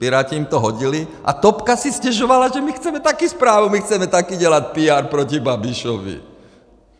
Piráti jim to hodili a topka si stěžovala, že - my chceme taky zprávu, my chceme taky dělat PR proti Babišovi.